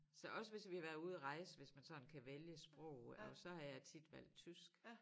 Så også hvis vi har været ude at rejse hvis man sådan kan vælge sprog og så har jeg tit valgt tysk